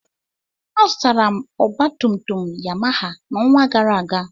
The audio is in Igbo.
Azụtara m ọgbatumtum Yamaha n'ọnwa gara aga.